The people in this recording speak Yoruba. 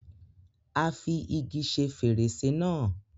Á fi igi ṣe fèrèsé náà.